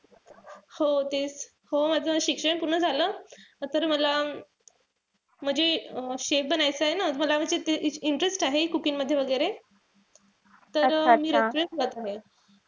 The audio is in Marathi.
हो तेच. हो माझं शिक्षण पूर्ण झालं. तर मला म्हणजे अं chef बनायचंय ना. मला म्हणजे interest आहे cooking मध्ये वगैरे. तर